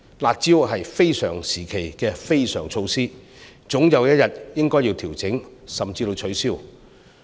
"辣招"是非常時期的非常措施，總有一天應該要調整甚至取消。